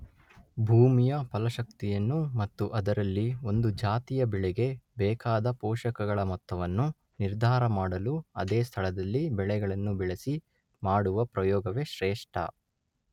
ಭೂಮಿಯ ಫಲಶಕ್ತಿಯನ್ನು ಮತ್ತು ಅದರಲ್ಲಿ ಒಂದು ಜಾತಿಯ ಬೆಳೆಗೆ ಬೇಕಾದ ಪೋಷಕಗಳ ಮೊತ್ತವನ್ನು ನಿರ್ಧಾರ ಮಾಡಲು ಅದೇ ಸ್ಥಳದಲ್ಲಿ ಬೆಳೆಗಳನ್ನು ಬೆಳೆಸಿ ಮಾಡುವ ಪ್ರಯೋಗವೇ ಶ್ರೇಷ್ಠ.